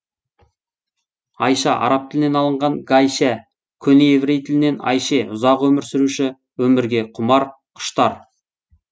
аи ша араб тілінен алынған гайшә көне еврей тілінен айше ұзақ өмір сүруші өмірге құмар құштар